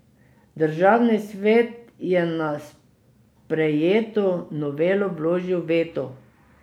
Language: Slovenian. Državni svet je na sprejeto novelo vložil veto.